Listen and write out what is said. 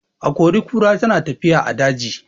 Akori-kura tana tafiya a daji.